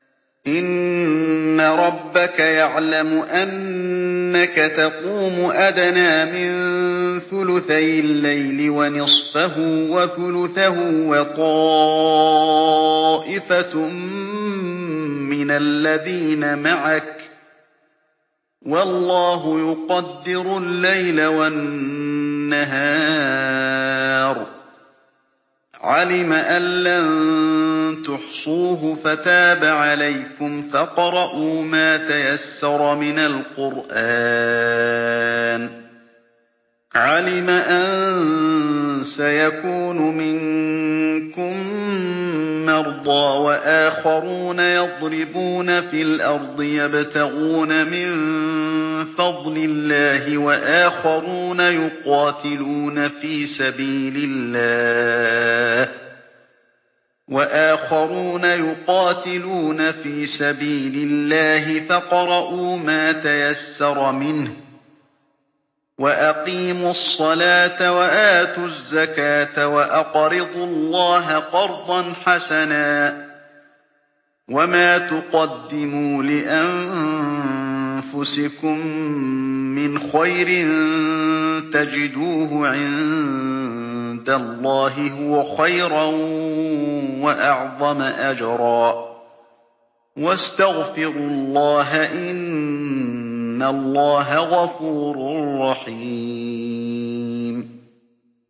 ۞ إِنَّ رَبَّكَ يَعْلَمُ أَنَّكَ تَقُومُ أَدْنَىٰ مِن ثُلُثَيِ اللَّيْلِ وَنِصْفَهُ وَثُلُثَهُ وَطَائِفَةٌ مِّنَ الَّذِينَ مَعَكَ ۚ وَاللَّهُ يُقَدِّرُ اللَّيْلَ وَالنَّهَارَ ۚ عَلِمَ أَن لَّن تُحْصُوهُ فَتَابَ عَلَيْكُمْ ۖ فَاقْرَءُوا مَا تَيَسَّرَ مِنَ الْقُرْآنِ ۚ عَلِمَ أَن سَيَكُونُ مِنكُم مَّرْضَىٰ ۙ وَآخَرُونَ يَضْرِبُونَ فِي الْأَرْضِ يَبْتَغُونَ مِن فَضْلِ اللَّهِ ۙ وَآخَرُونَ يُقَاتِلُونَ فِي سَبِيلِ اللَّهِ ۖ فَاقْرَءُوا مَا تَيَسَّرَ مِنْهُ ۚ وَأَقِيمُوا الصَّلَاةَ وَآتُوا الزَّكَاةَ وَأَقْرِضُوا اللَّهَ قَرْضًا حَسَنًا ۚ وَمَا تُقَدِّمُوا لِأَنفُسِكُم مِّنْ خَيْرٍ تَجِدُوهُ عِندَ اللَّهِ هُوَ خَيْرًا وَأَعْظَمَ أَجْرًا ۚ وَاسْتَغْفِرُوا اللَّهَ ۖ إِنَّ اللَّهَ غَفُورٌ رَّحِيمٌ